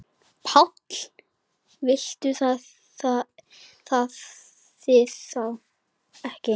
PÁLL: Vitið þið það ekki?